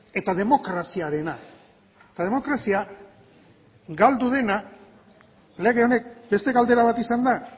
eta demokraziarena eta demokrazia galdu dena lege honek beste galdera bat izan da